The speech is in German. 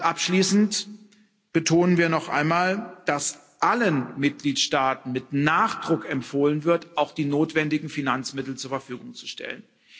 Abschließend betonen wir noch einmal, dass allen Mitgliedstaaten mit Nachdruck empfohlen wird, auch die notwendigen Finanzmittel zur Verfügung zu stellen.